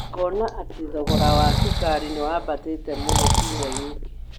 Ngona atĩ thogora wa cukari nĩ wambatĩte mũno kiumia gĩkĩ.